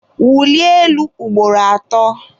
wulie elu ugboro atọ!